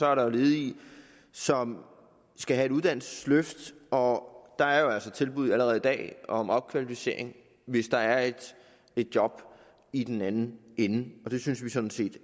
er der ledige som skal have et uddannelsesløft og der er jo altså tilbud allerede i dag om opkvalificering hvis der er et job i den anden ende og det synes vi synes vi